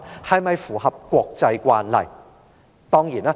是否符合國際慣例？